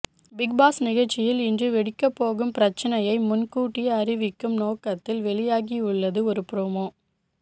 Bigg Boss நிகழ்ச்சியில் இன்று வெடிக்கப்போகும் பிரச்னையை முன் கூட்டியே அறிவிக்கும் நோக்கத்தில் வெளியாகியுள்ளது ஒரு ப்ரோமோ